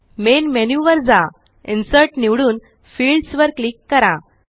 main menu वर जा insert निवडून Fieldsवर क्लिक करा